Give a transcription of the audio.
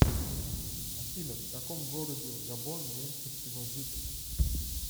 афина в каком городе в габон меньше всего жителей